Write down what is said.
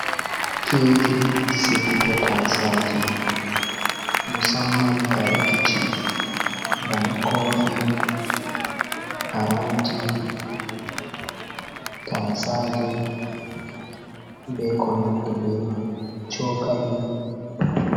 Keji sigugo tasaje, musamman kare kicin bana kofi, paranti, tasaje be konandi be man cokali.